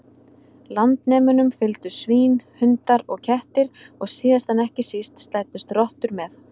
Landnemunum fylgdu svín, hundar og kettir og síðast en ekki síst slæddust rottur með.